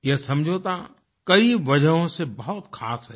ये समझौता कई वजहों से बहुत ख़ास है